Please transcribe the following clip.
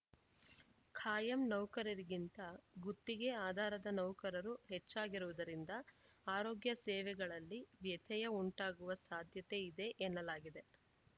ಕಾಯಂ ನೌಕರರಿಗಿಂತ ಗುತ್ತಿಗೆ ಆಧಾರದ ನೌಕರರು ಹೆಚ್ಚಾಗಿರುವುದರಿಂದ ಆರೋಗ್ಯ ಸೇವೆಗಳಲ್ಲಿ ವ್ಯತ್ಯಯ ಉಂಟಾಗುವ ಸಾಧ್ಯತೆ ಇದೆ ಎನ್ನಲಾಗಿದೆ